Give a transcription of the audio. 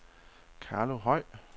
Carlo Høj